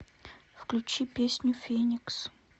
включи песню феникс